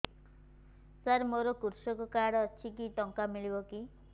ସାର ମୋର୍ କୃଷକ କାର୍ଡ ଅଛି କିଛି ଟଙ୍କା ମିଳିବ କି